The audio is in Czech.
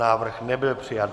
Návrh nebyl přijat.